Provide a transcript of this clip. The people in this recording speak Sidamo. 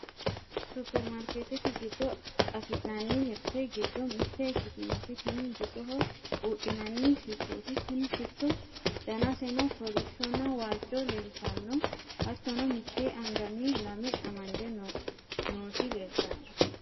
superimaarkeetete giddo afi'nanni mirte giddo mitte ikkitinoti tini bisoho buudhinanni shittooti, tini shitto danaseno kolishshonna waajjo leeltanno. hattono mitte anganni lame amade nooti leeltanno.